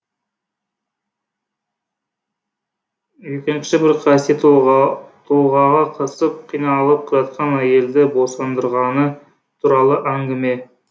екінші бір қасиеті толғағы қысып қиналып жатқан әйелді босандырғаны туралы әңгіме